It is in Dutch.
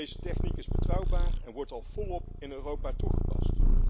Deze techniek is betrouwbaar en wordt al volop in Europa toegepast.